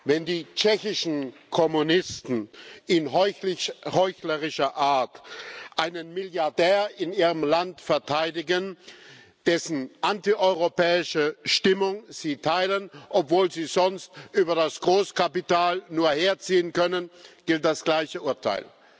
Wenn die tschechischen Kommunisten in heuchlerischer Art einen Milliardär in ihrem Land verteidigen, dessen antieuropäische Stimmung sie teilen, obwohl sie sonst über das Großkapital nur herziehen können, gilt das gleiche Urteil.